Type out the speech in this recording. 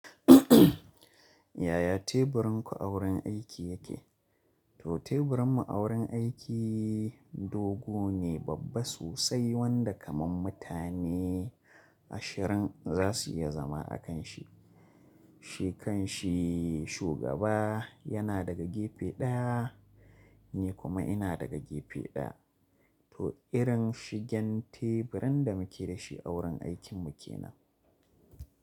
Yaya teburin ku a wurin aiki yake? To teburin mu a wurin aiki dogo ne, babba sosai wanda kaman mutane ashirin zasu iya zama a kan shi. Shi kan shi shugaba yana daga gefe ɗaya ni kuma ina daga gefe ɗaya. To irin shigen teburin da muke da shi a wurin aikin mu ke nan.